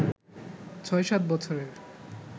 ৬/৭ বছরের